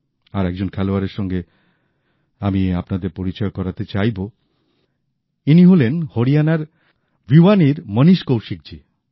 আর একজন খেলোয়াড়ের সঙ্গে আমি আপনাদের পরিচয় করাতে চাইব ইনি হলেন হরিয়ানার ভিওয়ানীর মণীশ কৌশিক জী